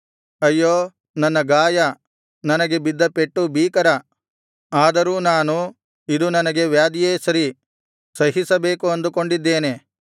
ಅಯ್ಯೋ ನನ್ನ ಗಾಯ ನನಗೆ ಬಿದ್ದ ಪೆಟ್ಟು ಭೀಕರ ಆದರೂ ನಾನು ಇದು ನನಗೆ ವ್ಯಾಧಿಯೇ ಸರಿ ಸಹಿಸಬೇಕು ಅಂದುಕೊಂಡಿದ್ದೇನೆ